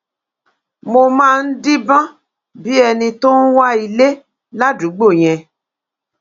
mo máa ń díbọn bíi ẹni tó ń wa ilé ládùúgbò yẹn